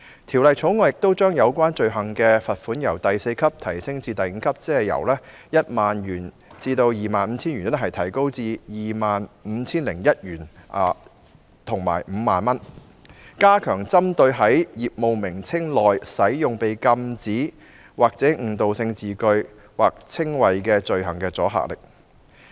《條例草案》亦將有關罪行的罰款由第4級提高至第5級，即由 10,001 元至 25,000 元提高為 25,001 元至 50,000 元，以加強針對在業務名稱內使用被禁止或具誤導性的字眼或稱謂的罪行的阻嚇力。